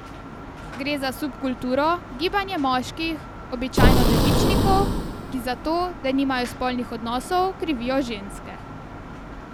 Gre za subkulturo, gibanje moških, običajno devičnikov, ki za to, da nimajo spolnih odnosov, krivijo ženske.